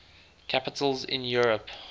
capitals in europe